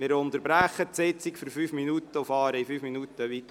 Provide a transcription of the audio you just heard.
Wir unterbrechen die Sitzung und fahren in fünf Minuten weiter.